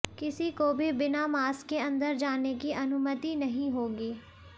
किसी को भी बिना मास्क के अंदर जाने की अनुमति नहीं होगी